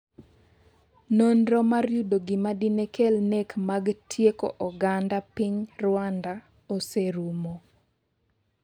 nonro mar yudo gima dine kel nek mag tieko oganda piny Rwanda oserumo